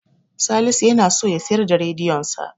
Salisu yana so ya siyar da rediyonsa.